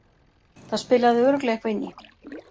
Það spilaði örugglega eitthvað inn í.